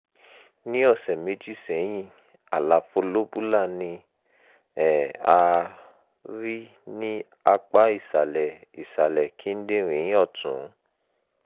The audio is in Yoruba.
ní ọ̀sẹ̀ méjì sẹ́yìn àlàfo lobular ni um a rí ní apá ìsàlẹ̀ ìsàlẹ̀ kíndìnrín ọ̀tún